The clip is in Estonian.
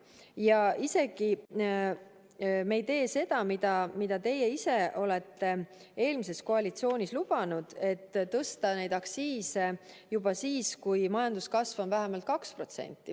Me isegi ei tee seda, mida teie eelmises koalitsioonis lubasite: tõsta neid aktsiise juba siis, kui majanduskasv on vähemalt 2%.